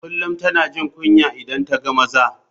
Kullum tana jin kunya idan ta ga maza.